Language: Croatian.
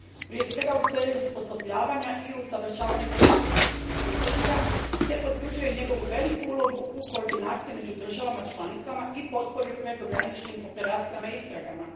Prije svega u smislu osposobljavanja i usavršavanja policijskih službenika te potvrđuje njegovu veliku ulogu u koordinaciji među državama članicama i potpori prekograničnih operacija te u istragama.